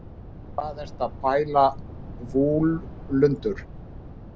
hvað ertu að pæla vúlundur